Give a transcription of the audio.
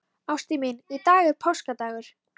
Ástin mín, í dag er páskadagur.